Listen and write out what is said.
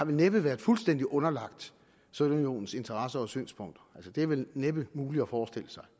vel næppe har været fuldstændig underlagt sovjetunionens interesser og synspunkter altså det er vel trods næppe muligt at forestille sig